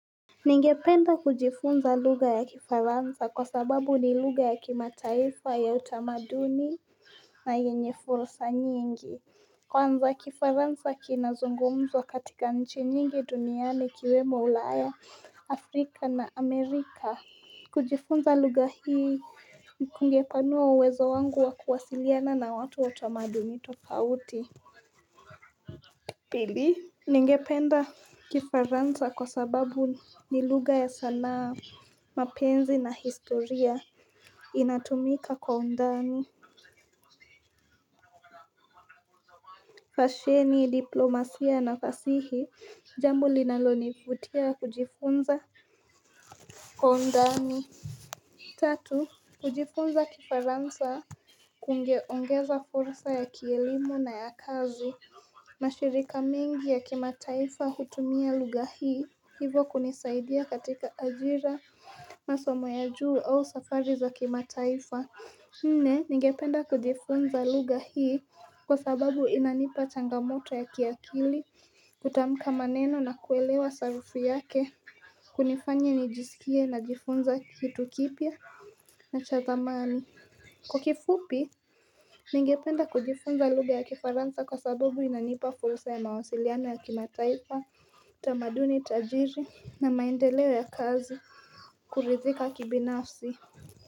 Ningependa kujifunza lugha ya kifaransa kwa sababu ni lugha ya kimataifa ya utamaduni, na yenye fursa nyingi. Kwanza, kifaransa kinazungumzwa katika nchi nyingi duniani ikiwemo Ulaya, Afrika na Amerika. Kujifunza lugha hii kungepanua uwezo wangu wa kuwasiliana na watu wa tamaduni tofauti. Pili, ningependa kifaransa kwa sababu ni lugha ya sanaa, mapenzi na historia. Inatumika kwa undani fasheni, diplomasia na fasihi, jambo linalonifutia kujifunza kwa undani. Tatu, kujifunza kifaransa kungeongeza fursa ya kielimu na ya kazi. Mashirika mengi ya kimataifa hutumia lugha hii, hivo kunisaidia katika ajira, masomo ya juu au safari za kimataifa. Nne, ningependa kujifunza lugha hii, kwa sababu inanipa changamoto ya kiakili kutamka maneno na kuelewa sarufi yake. Kunifanya nijisikie najifunza hitu kipya na cha thamani. Kwa kifupi, ningependa kujifunza lugha ya kifaransa kwa sababu inanipa fursa ya mawasiliano ya kimataifa, tamaduni tajiri na maendeleo ya kazi, kuridhika kibinafsi.